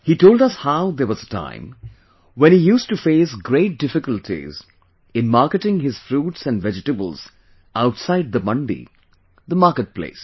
He told us how there was a time when he used to face great difficulties in marketing his fruits and vegetables outside the mandi, the market place